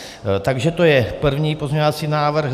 Takže to je první pozměňovací návrh.